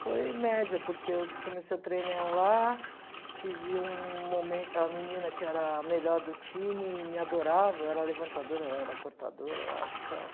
Foi média, porque eu comecei o lá, tive um mome uma menina que era a melhor do time e me adorava, eu era levantadora, ela era cortadora, eu acho, tchau.